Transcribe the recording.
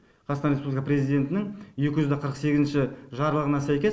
қазақстан республика президентінің екі жүз қырық сегізінші жарлығына сәйкес